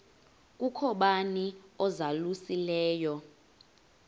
kukho bani uzalusileyo